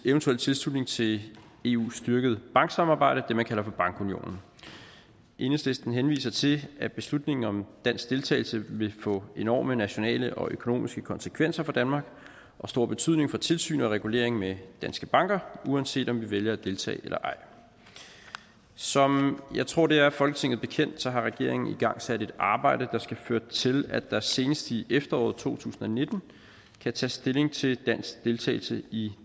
eventuel tilslutning til eus styrkede banksamarbejde det man kalder for bankunionen enhedslisten henviser til at beslutningen om dansk deltagelse vil få enorme nationale og økonomiske konsekvenser for danmark og stor betydning for tilsyn med og regulering af danske banker uanset om vi vælger at deltage eller ej som jeg tror det er folketinget bekendt har regeringen igangsat et arbejde der skal føre til at der senest i efteråret to tusind og nitten kan tages stilling til dansk deltagelse i